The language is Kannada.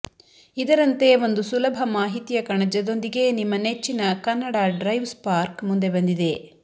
ಇದರಂತೆ ಒಂದು ಸುಲಭ ಮಾಹಿತಿಯ ಕಣಜದೊಂದಿಗೆ ನಿಮ್ಮ ನೆಚ್ಚಿನ ಕನ್ನಡ ಡ್ರೈವ್ ಸ್ಪಾರ್ಕ್ ಮುಂದೆ ಬಂದಿದೆ